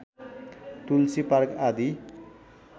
तुलसी park आदि